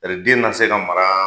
Tari den na se ka maraa